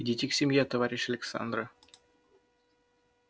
идите к семье товарищ александра